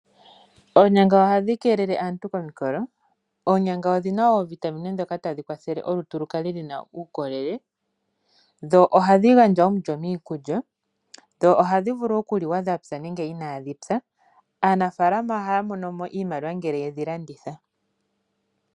Oonyanga ohadhi keelele aantu komikolo. Onyanga odhi na wo oovitamine ndhoka tadhi kwathele olutu lu kale lu na uukolele, ohadhi gandja omulyo miikulya, ohadhi vulu okuliwa dha pya nenge inaadhi pya. Aanafaalama ohaya mono mo iimaliwa ngele yedhi landitha.